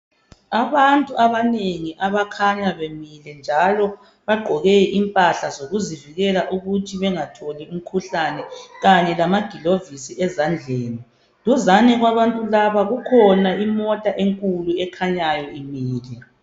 Abantu abanengi abakhanya bemile njalo bagqoke impahla zokuzivikela ukuthi bengatholi umkhuhlane kanye lamagilovisi ezandleni duzane kwabantu laba kukhona imota enkulu ekhanyayo imile.